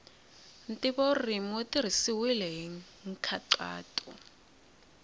ntivoririmi wu tirhisiwile hi nkhaqato